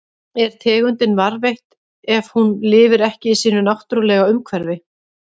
Er tegundin varðveitt ef hún lifir ekki í sínu náttúrulega umhverfi?